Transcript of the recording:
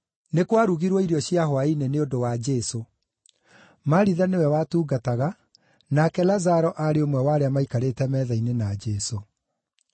Nĩ kwarugirwo irio cia hwaĩ-inĩ nĩ ũndũ wa Jesũ. Maritha nĩwe watungataga, nake Lazaro aarĩ ũmwe wa arĩa maikarĩte metha-inĩ na Jesũ.